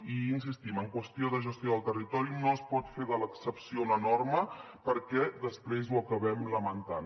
i hi insistim en qüestió de gestió del territori no es pot fer de l’excepció una norma perquè després ho acabem lamentant